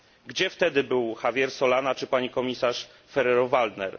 Gdzie wtedy był Javier Solana czy pani komisarz Ferrero Waldner?